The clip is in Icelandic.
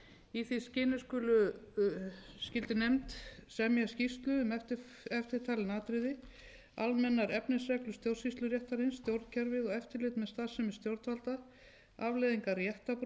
í því skyni skyldi nefnd semja skýrslu um eftirtalin atriði almennar efnisreglur stjórnsýsluréttarins stjórnkerfið og eftirlit með starfsemi stjórnvalda afleiðingar réttarbrota í stjórnsýslunni